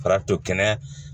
Farati kɛnɛya